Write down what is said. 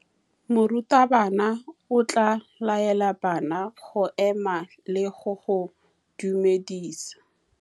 Morutabana o tla laela bana go ema le go go dumedisa.